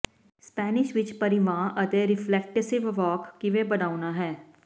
Spanish ਵਿੱਚ ਪਰਿਵਾਂ ਅਤੇ ਰਿਫਲਟੇਸੀਵ ਵਾਕ ਕਿਵੇਂ ਬਣਾਉਣਾ ਹੈ